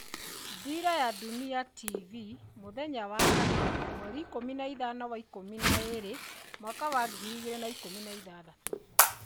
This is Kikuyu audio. Dira ya Dunia TV mũthenya wa kana 15.12.2016.